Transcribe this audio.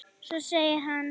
Svo segir hann.